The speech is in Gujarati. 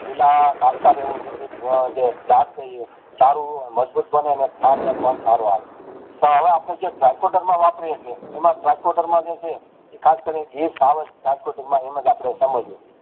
પીળા એવું છેકે જે ચારુ મંદબુજ બંને ને છાણ પણ સારું આવે તોહ હવે આપણે જે વાપરીએ છીએ એમાં જાયકોડેરમાં જે છે એ ખાસ કરીને જાયકોડેર માં એમજ આપણે સમજીએ